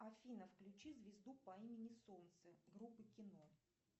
афина включи звезду по имени солнце группы кино